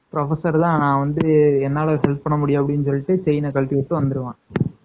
Professor தான் என்னால help பண்ணமுடியும் செயின் கழட்டிவிட்டு வந்துருவான்